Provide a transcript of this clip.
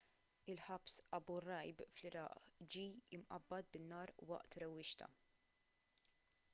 il-ħabs abu ghraib fl-iraq ġie mqabbad bin-nar waqt rewwixta